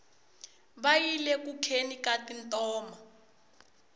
va yile ku kheni ka tintoma